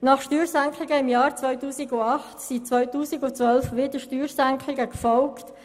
Nach Steuersenkungen im Jahr 2008 erfolgten 2012 wieder Steuersenkungen.